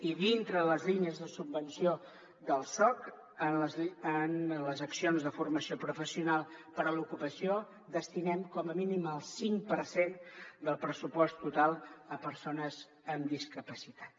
i dintre les línies de subvenció del soc en les accions de formació professional per a l’ocupació destinem com a mínim el cinc per cent del pressupost total a persones amb discapacitat